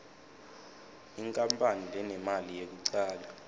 inkapani lenemali yekucala